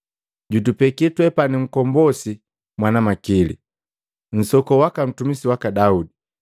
Jutupeki twepani Nkombosi mwana makili, nsokoo waka mtumisi waki Daudi.